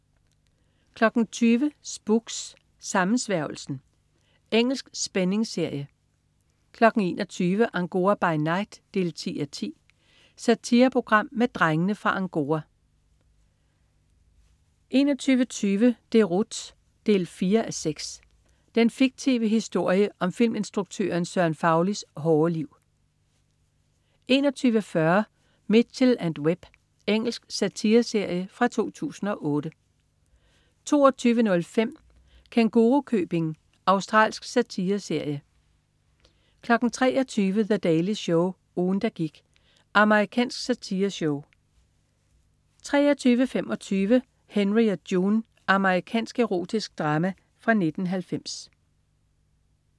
20.00 Spooks: Sammensværgelsen. Engelsk spændingsserie 21.00 Angora by night 10:10. Satireprogram med "Drengene fra Angora" 21.20 Deroute 4:6. Den fiktive historie om filminstruktøren Søren Faulis hårde liv 21.40 Mitchell & Webb. Engelsk satireserie fra 2008 22.05 Kængurukøbing. Australsk satireserie 23.00 The Daily Show. Ugen der gik. Amerikansk satireshow 23.25 Henry og June. Amerikansk erotisk drama fra 1990